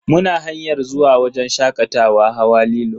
Muna hanyar zuwa wajen shakatawa hawa lilo.